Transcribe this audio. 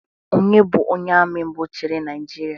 Onye bụ onye Ami mbụ chiri naijiria?